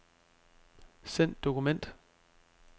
Send dokument.